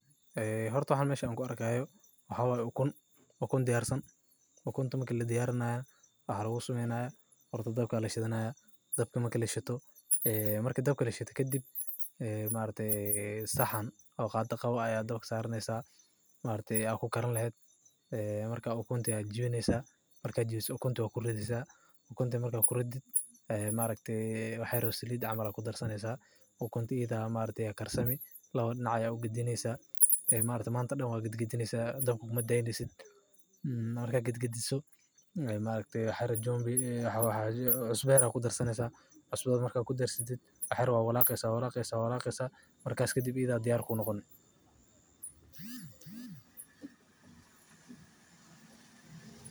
Ee horta waxaa an mesha ku arkaya waa ukun horta dab aya lashidana marka horta ukunta waa jibineysa ukunta iyada aya karsami waxyar cusba aya kudareysa marka kadib iyada aya diyar kunoqoneysa.